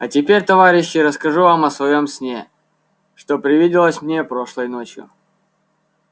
а теперь товарищи расскажу вам о своём сне что привиделось мне прошлой ночью